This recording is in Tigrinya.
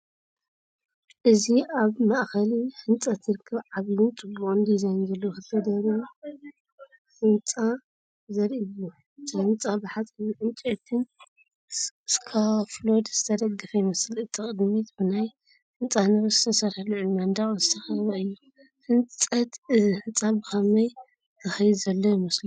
እዚ ኣብ ማእከል ህንጸት ዝርከብ ዓቢን ጽቡቕ ዲዛይን ዘለዎን ክልተ ደርቢ ህንጻ ዘርኢ እዩ። እቲ ህንጻ ብሓጺንን ዕንጨይትን ስካፎልድ ዝተደገፈ ይመስል። እቲ ቅድሚት ብናይ ህንጻ ንብረት ዝተሰርሐ ልዑል መንደቕ ዝተኸበበ እዩ። ህንጸት እዚ ህንጻ ብኸመይ ዝከይድ ዘሎ ይመስለኩም?